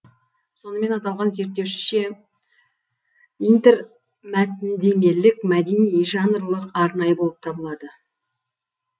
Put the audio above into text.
сонымен аталған зерттеушіше интермәтіндемелік мәдени жанрлық арнайы болып табылады